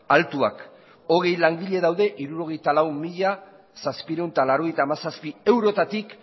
altuak hogei langile daude hirurogeita lau mila zazpiehun eta laurogeita hamazazpi eurotatik